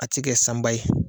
A tɛ kɛ sanba ye